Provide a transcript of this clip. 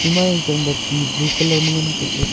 ema yang chang ba ti blue colour ma ngan ang kap ley.